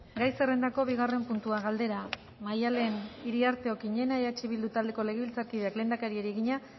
gai zerrendako bigarren puntua galdera maddalen iriarte okiñena eh bildu taldeko legebiltzarkideak lehendakariari egina